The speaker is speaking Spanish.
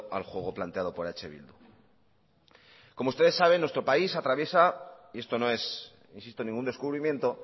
al juego planteado por eh bildu como ustedes saben nuestro país atraviesa y esto no es insisto ningún descubrimiento